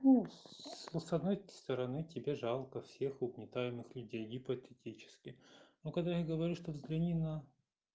ну с ну с одной стороны тебе жалко всех угнетаемых людей гипотетически но когда я говорю что взгляни на